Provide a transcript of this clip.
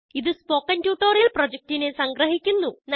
ഇതു spoken tutorial പ്രൊജക്റ്റിനെ സംഗ്രഹിക്കുന്നു